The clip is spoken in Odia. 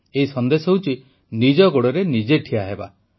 ଏହି ସନ୍ଦେଶ ହେଉଛି ନିଜ ଗୋଡ଼ରେ ନିଜେ ଠିଆ ହେବା